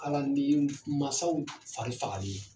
Ala ni mansaw fari fagalen ye.